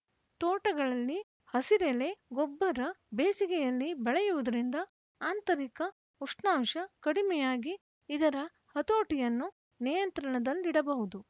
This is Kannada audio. ತೋಟಗಳಲ್ಲಿ ಹಸಿರೆಲೆ ಗೊಬ್ಬರ ಬೇಸಿಗೆಯಲ್ಲಿ ಬೆಳೆಯುವುದರಿಂದ ಆಂತರಿಕ ಉಷ್ಣಾಂಶ ಕಡಿಮೆಯಾಗಿ ಇದರ ಹತೋಟಿಯನ್ನು ನಿಯಂತ್ರಣದಲ್ಲಿಡಬಹುದು